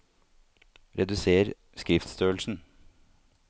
Reduser skriftstørrelsen